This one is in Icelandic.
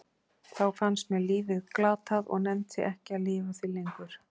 Þá fannst mér lífið glatað og nennti ekki að lifa því lengur.